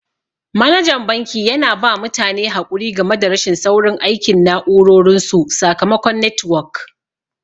Manajan banki yana ba mutane haƙuri game da rashin saurin aikin na'urorin su sakamakon netiwok.